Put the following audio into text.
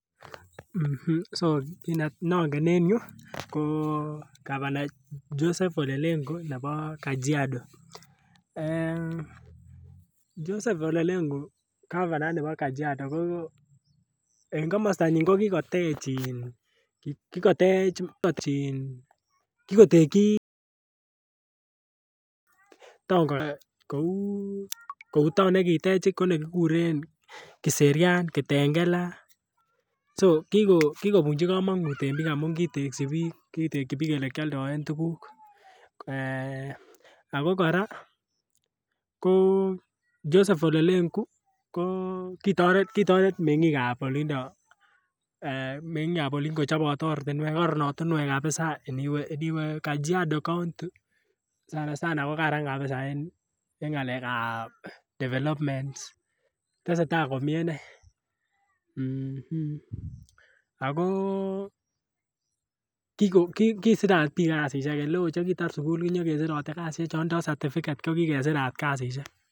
um so nongen en yuu koo governor Joseph olelengu nebo kajiado um , Joseph olelengu governor ni bo Kajiado en komostonyin ko kikotej kikotej in, kikotegyi town ko kararanit kouu town nekitej ko ne kiguren kiserian, kitengela so kikobuchi komonut en biik amun kitegyi biik ole kyoldoen tugug um Ako koraa ko Joseph olelengu ko kitoret mengiikab olido mengiikab Olin kochob oratinwek, koron oratinwek koron oratinwek kabisa. Iniwe Kajiado county sana sana kogaran kabisa en ngalekab developments tesetai komie inee um ago Kiko kisirat biik kazishek ele oo che kitar sukul konyo kesirite kazishek ot Chon tindo certificate ko kikesirat kazishek.